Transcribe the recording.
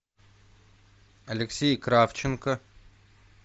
алексей кравченко